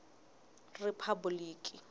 riphabuliki